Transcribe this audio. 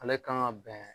Ale kan ka bɛn